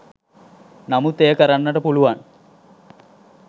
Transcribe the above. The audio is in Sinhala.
නමුත් එය කරන්නට පුළුවන්